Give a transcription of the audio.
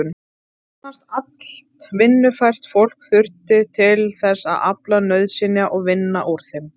Nánast allt vinnufært fólk þurfti til þess að afla nauðsynja og vinna úr þeim.